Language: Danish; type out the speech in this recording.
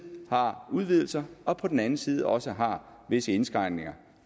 har udvidelser og på den anden side også har visse indskrænkninger